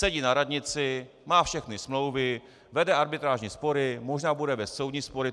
Sedí na radnici, má všechny smlouvy, vede arbitrážní spory, možná bude vést soudní spory.